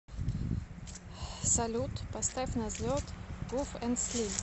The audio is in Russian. салют поставь на взлет гуф энд слим